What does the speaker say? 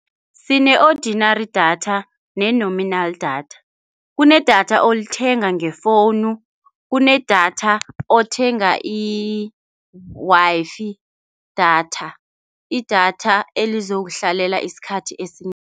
Sine-ordinary datha ne-nominal datha. Kunedatha olithenga ngefowunu. Kunedatha othenga i-Wi-Fi datha. Idatha elizokuhlalela isikhathi esinengi.